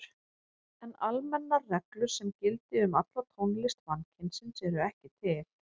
En almennar reglur sem gildi um alla tónlist mannkynsins eru ekki til.